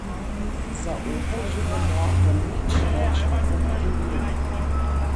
Za Opel že vemo, da nič več ne bo, kot je bilo.